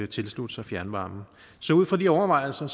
tilslutte sig fjernvarmen så ud fra de overvejelser